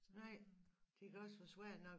Nej det kan også være svært nok